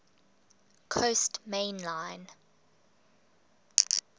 coast main line